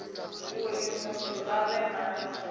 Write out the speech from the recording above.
uri muthu a vhe na